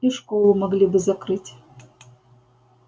и школу могли бы закрыть